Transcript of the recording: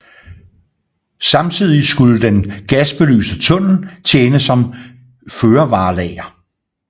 Samtidig skulle den gasbelyste tunnel tjene som førevarelager